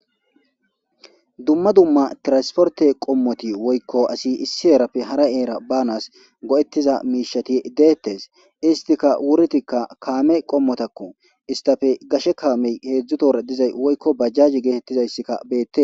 Dumma dumma tiransporte qommoti woykko asi issi eerappe hara eera banas go'ettiza miishati deettes istika wurtikka kaame qommotakko istafe gashe kaamey heedzdzutora dizay woykko bajjaji geetettizayssikka beette.